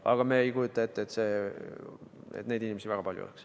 Aga me ei kujuta ette, et neid inimesi väga palju oleks.